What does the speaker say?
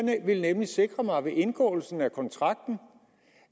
jeg ville nemlig sikre mig ved indgåelsen af kontrakten